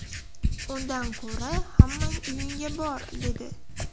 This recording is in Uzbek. Undan ko‘ra hammang uyingga bor’ dedi.